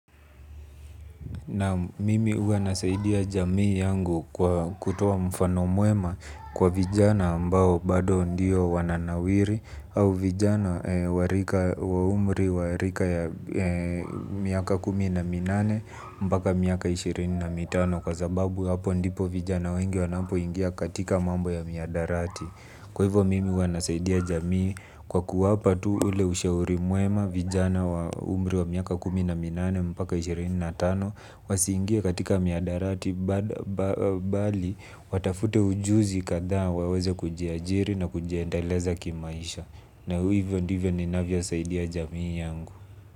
Naam mimi huwa nasaidia jamii yangu kwa kutoa mfano mwema kwa vijana ambao bado ndio wananawiri au vijana wa rika wa umri wa rika ya miaka kumi na minane mpaka miaka ishirini na mitano kwa sababu hapo ndipo vijana wengi wanapo ingia katika mambo ya mihadarati. Kwa hivyo mimi huwa nasaidia jamii kwa kuwapa tu ule ushauri mwema vijana wa umri wa miaka kumi na minane mpaka ishirini na tano wasiingie katika mihadarati bali watafute ujuzi kadhaa waweze kujiajiri na kujiendeleza kimaisha. Na hivyo ndivyo ninavyo saidia jamii yangu.